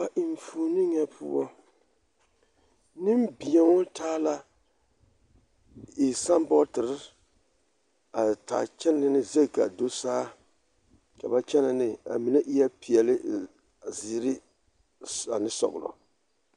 A enfuoni nyɛ poɔ nembeo taa la saabɔɔtere a taa kyɛnɛ zɛŋ ka a do saa ka ba kyɛnɛ ne a mine eɛɛ peɛle, ziiri ane sɔɡelɔ.